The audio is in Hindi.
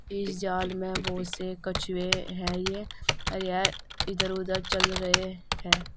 इस जाल में बहोत से कछुए हैं ये इधर उधर चल रहे हैं।